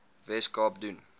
wes kaap doen